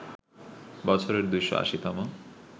বছরের ২৮০ তম